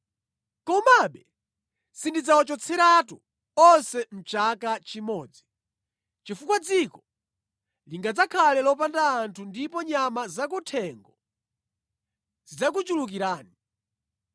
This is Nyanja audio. Komabe sindidzawachotseratu onse mʼchaka chimodzi chifukwa dziko lingadzakhale lopanda anthu ndipo nyama zakuthengo zidzakuchulukirani.